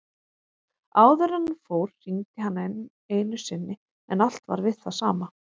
Áður en hann fór hringdi hann enn einu sinni en allt var við það sama.